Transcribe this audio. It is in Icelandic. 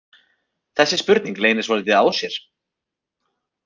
Þessi spurning leynir svolítið á sér.